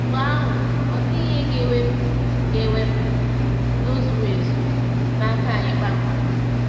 Mgbe ahụ, ọ dịghị ihe ga-ewepụ ga-ewepụ “udo zuru ezu” n’aka anyị kpamkpam.